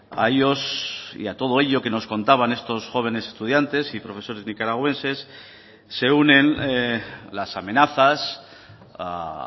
a ellos y a todo ello que nos contaban estos jóvenes estudiantes y profesores nicaragüenses se unen las amenazas a